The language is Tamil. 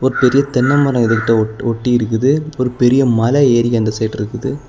ஒரு பெரிய தென்ன மரம் இது கிட்ட ஒட் ஒட்டி இருக்குது ஒரு பெரிய மல ஏரி அந்த சைடு இருக்குது.